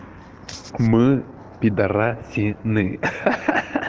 мы пидорасины ха ха ха